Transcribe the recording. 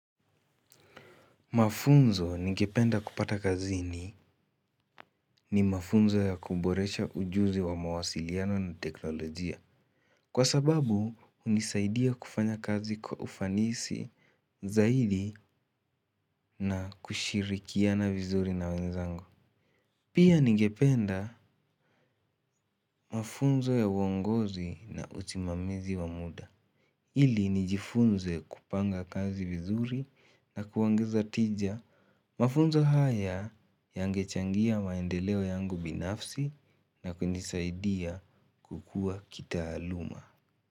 Mafunzo ningependa kupata kazini ni mafunzo ya kuboresha ujuzi wa mawasiliano na teknolojia. Kwa sababu, hunisaidia kufanya kazi kwa ufanisi zaidi na kushirikia na vizuri na wenzangu. Pia ningependa mafunzo ya uongozi na usimamizi wa muda. Ili nijifunze kupanga kazi vizuri na kuongeza tija mafunzo haya yengechangia mafunzo yangu binafsi na kunisaidia kukua kitaaluma.